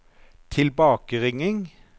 tilbakeringing